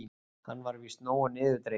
Hann var víst nógu niðurdreginn.